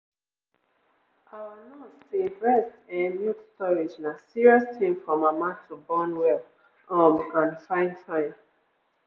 our nurse say breast ehnnn milk storage na serious thing for mama to born well um and fine fine.